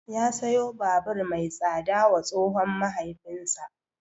Ya siyo babur mai tsada wa tsohon mahaifinsa.